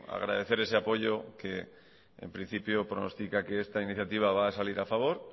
agradecer ese apoyo que en principio pronostica que esta iniciativa va a salir a favor